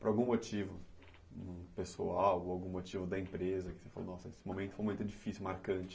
Por algum motivo pessoal ou algum motivo da empresa que você falou, nossa, esse momento foi muito difícil, marcante?